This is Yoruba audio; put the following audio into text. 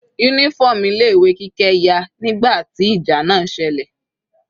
Uniform ilé ìwé Kike ya nígbà tí ìjà náà selẹ̀.